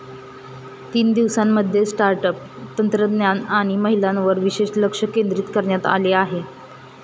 तीन दिवसांमध्ये startup, तंत्रज्ञान आणि महिलांवर विशेष लक्ष केंद्रित करण्यात आले.